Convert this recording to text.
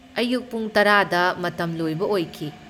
ꯑꯌꯨꯛ ꯄꯨꯡ ꯇꯔꯥꯗ ꯃꯇꯝ ꯂꯣꯏꯕ ꯑꯣꯏꯈꯤ꯫